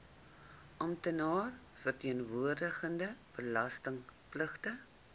amptenaar verteenwoordigende belastingpligtige